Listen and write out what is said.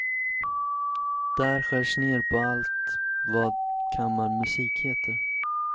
Där skärs ner på allt vad kammarmusik heter.